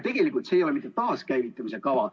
Tegelikult see ei ole taaskäivitamise kava.